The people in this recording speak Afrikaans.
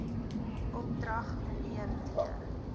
opdrag mnr d